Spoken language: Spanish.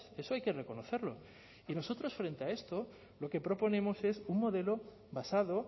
eso hay que reconocerlo y nosotros frente a esto lo que proponemos es un modelo basado